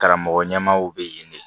Karamɔgɔ ɲɛmaaw bɛ yen de